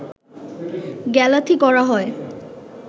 গ্যালাথি করা হয়